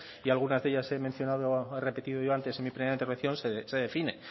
y algunas de ellas he mencionado he repetido yo antes en mi primera intervención se define